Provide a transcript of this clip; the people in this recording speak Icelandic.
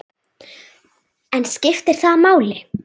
En skiptir það máli?